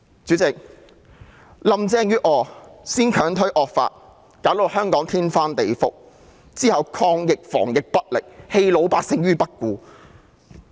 主席，林鄭月娥先強推惡法，弄得香港天翻地覆，之後抗疫防疫不力，棄老百姓於不顧。